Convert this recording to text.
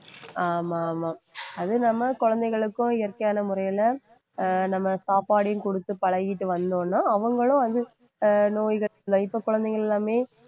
ஆமா ஆமா அது நம்ம குழந்தைகளுக்கும் இயற்கையான முறையில அஹ் நம்ம சாப்பாடையும் கொடுத்து பழகிட்டு வந்தோம்ன்னா அவங்களும் இப்ப குழந்தைகள் எல்லாமே